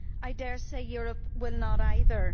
I dare say Europe will not either.